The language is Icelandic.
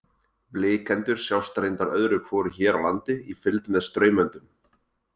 Blikendur sjást reyndar öðru hvoru hér á landi í fylgd með straumöndum.